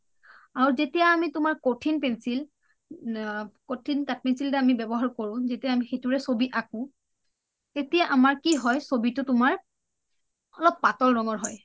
আৰু যেতিয়া আমি কঠিন pencil আ কঠিন কাঠ pencil ব্যৱহাৰ কৰো যেতিয়া আমি সেইটোৰে চবি আকো তেতিয়া আমাৰ কি হয় চবিটো আমাৰ অলপ পাতল ৰংৰ হয়